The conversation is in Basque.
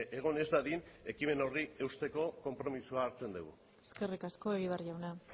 egon ez dadin ekimen horri eusteko konpromisoa hartzen dugu eskerrik asko egibar jauna